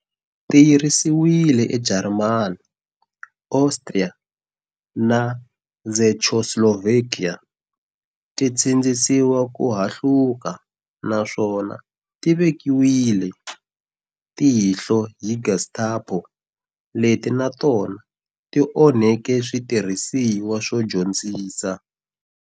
Ti yirisiwile eJarimani, Austria na Czechoslovakia, ti sindzisiwa ku hahluka naswona ti vekiwile ti vekiwile tihlo hi Gestapo, leti na tona ti onheke switirhisiwa swo dyondzisa.